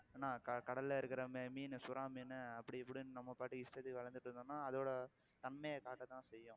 என்ன கடல்ல இருக்கிற மீனு, சுறா மீனு அப்படி இப்படின்னு நம்ம பாட்டுக்கு இஷ்டத்துக்கு வளர்த்திட்டிருந்தோம்னா அதோட தன்மையை காட்டதான் செய்யும்